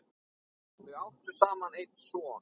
Þau áttu saman einn son.